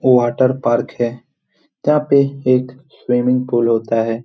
Water park है यहाँ पे एक स्विमिंग पूल होता है।